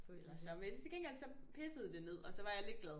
Ja men til gengæld så pissede det ned og så var jeg lidt glad